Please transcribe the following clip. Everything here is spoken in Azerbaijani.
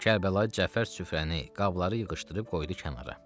Kərbəlayı Cəfər süfrəni, qabları yığışdırıb qoydu kənara.